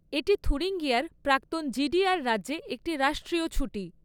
এটি থুরিঙ্গিয়ার প্রাক্তন জিডিআর রাজ্যে একটি রাষ্ট্রীয় ছুটি।